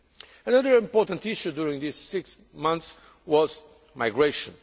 Another important issue during these six months was migration.